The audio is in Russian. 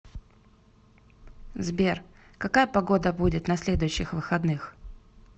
сбер какая погода будет на следующих выходных